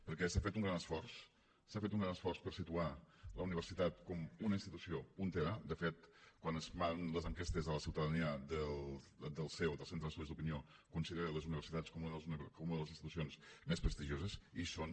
perquè s’ha fet un gran esforç s’ha fet un gran esforç per situar la universitat com una institució puntera de fet quan es fan les enquestes a la ciutadania del ceo del centre d’estudis d’opinió considera les universitats una de les institucions més prestigioses i ho són